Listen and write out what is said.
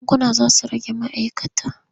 Bankuna za su rage ma'aikata.